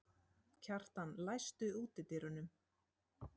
Kjartan, læstu útidyrunum.